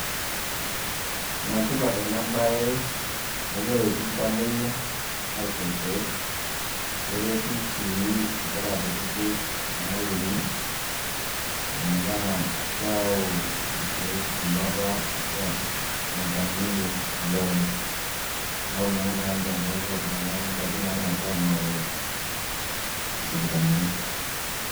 Ene tipat ena baye amu keretu iltamueyia aisho irkeek neretu sii nkera kutitik nayuni metaa keyau irkee embata arashu ene taaniki olorere. Neeku meeta haja pee epuo iltung'anak ng'uapi naalakua aing'oru isipitalini.